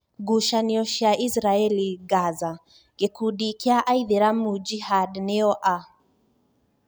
Ngucanio cia Israeli, Gaza:Gikundi kia aithiramu Jihad nio a?